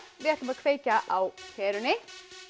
við ætlum að kveikja á perunni